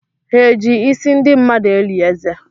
Ha eji isi ndị mmadụ eli eze?